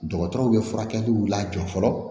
Dɔgɔtɔrɔw bɛ furakɛliw lajɔ fɔlɔ